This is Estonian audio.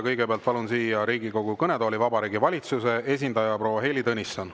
Kõigepealt palun siia Riigikogu kõnetooli Vabariigi Valitsuse esindaja proua Heili Tõnissoni.